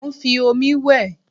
Mo ń fi omi wẹ̀